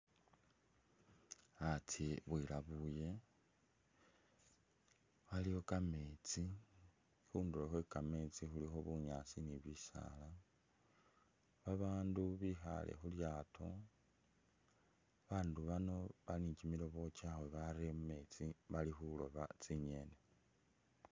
Atse alabule waliwo kametsi khunduro khwe’kametsi khulikho bunyaasi ni’bisala babandu bikhale khulyato babandu bano bali ni’kyimilobo kyawe berele mumetsi bakhuroba tsinyeni